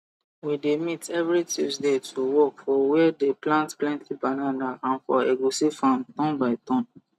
we dey meet every tuesday to work for where they plant plenty banana and for egusi farm turn by turn